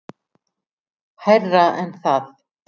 Hærra en það.